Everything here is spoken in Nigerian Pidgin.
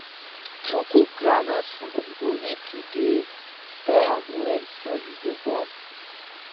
to cook groundnut soup u go need to dey stir am well so e go burn